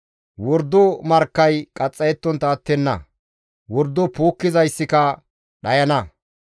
Wordo markkay qaxxayettontta attenna; wordo puukkizaykka dhayana.